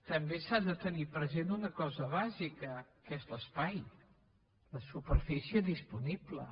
també s’ha de tenir present una cosa bàsica que és l’espai la superfície disponible